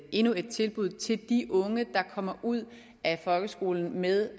endnu et tilbud til de unge der kommer ud af folkeskolen med